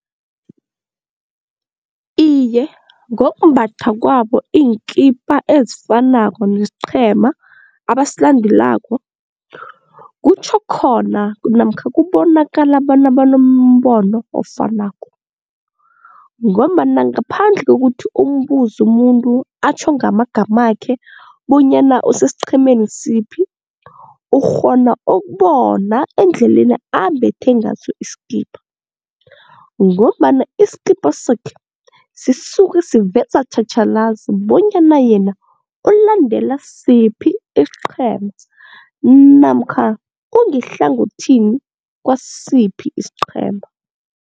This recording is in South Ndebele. Iye, ngokumbatha kwabo iinkipa ezifanako nesiqhema abasilandelako kutjho khona namkha kubonakala bona banombono ofanako ngombana ngaphandle kokuthi umbuze umuntu atjho ngamagamakhe bonyana usesiqhemeni siphi ukghona ukubona endleleni ambethe ngaso isikipa ngombana isikipa sakhe sisuke siveza tjhatjhalazi bonyana yena ulandela siphi isiqhema namkha ungehlangothini kwasiphi isiqhema.